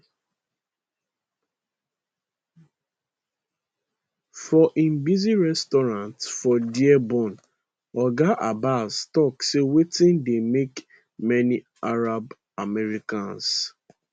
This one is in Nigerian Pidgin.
for im busy restaurant for dearborn oga abbas tok say wetin dey make many arab americans